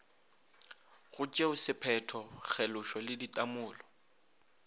go tšeosephetho kgelošo le ditamolo